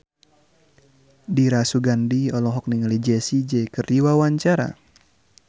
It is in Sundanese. Dira Sugandi olohok ningali Jessie J keur diwawancara